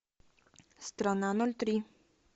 страна ноль три